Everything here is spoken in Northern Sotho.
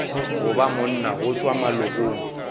goba monna go tšwa malokong